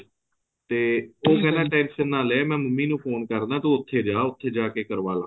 ਤੇ ਉਹ ਕਹਿੰਦਾ tension ਨਾ ਲਏ ਮੈਂ ਮੰਮੀ ਨੂੰ ਫੋਨ ਕਰਦਾ ਤੂੰ ਉਥੇ ਜਾਂਹ ਤੂੰ ਉਥੇ ਜਾਕੇ ਕਰਵਾਲਾ